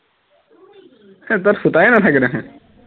হে তাত সূতাই নাথাকে দেখোন